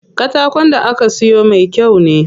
Katakon da aka siyo me kyau ne.